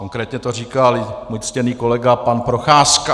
Konkrétně to říkal můj ctěný kolega pan Procházka.